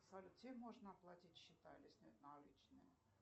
салют где можно оплатить счета или снять наличные